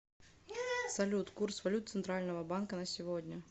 салют курс валют центрального банка на сегодня